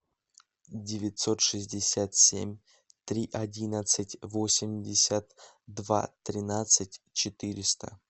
девятьсот шестьдесят семь три одиннадцать восемьдесят два тринадцать четыреста